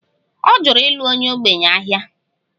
Ọ jụrụ ịlụ onye ogbenye ahịa